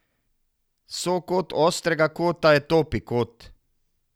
Sokot ostrega kota je topi kot.